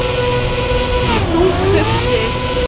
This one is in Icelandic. Þungt hugsi?